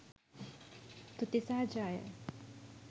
තුති සහ ජය!